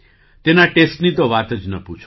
તેના ટેસ્ટની તો વાત જ ન પૂછો